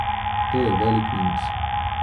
To je velik minus.